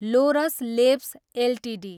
Lord's Labs Ltd